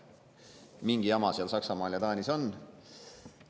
Mingi jama seal Saksamaal ja Taanis on.